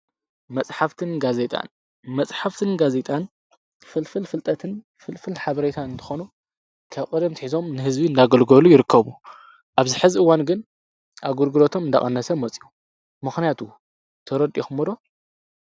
መጽሓፍትን ጋ ዜይጣን፣ መጽሕፍትን ጋዜይጣን ፍልፍል ፍልጠትን፣ ፍልፍል ሓበሬታ እንተኾኑ ከብ ቕድም ኣትሒዞም ንሕዝቢ እናገልጎሉ ይርከቡ። ኣብዝ ሕዚ እዋን ግን ኣገልግሎቶም እንዳቐነሰ ሞጺኡ ምኽንያቱ ተረዲእክሞ ዶ?